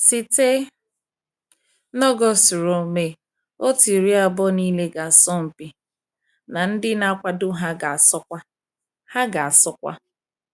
Site n’August ruo May, otu iri abụọ niile ga-asọmpi, na ndị na-akwado ha ga-asọkwa. ha ga-asọkwa.